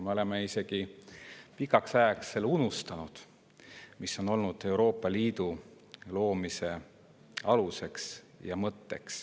Me oleme isegi pikaks ajaks unustanud, mis oli Euroopa Liidu loomise alus ja mõte.